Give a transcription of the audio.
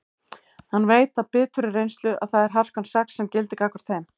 Hann veit af biturri reynslu að það er harkan sex sem gildir gagnvart þeim.